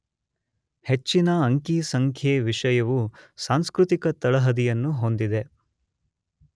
ಹೆಚ್ಚಿನ ಅಂಕಿ ಸಂಖ್ಯೆ ವಿಷಯವು ಸಾಂಸ್ಕೃತಿಕ ತಳಹದಿಯನ್ನು ಹೊಂದಿದೆ.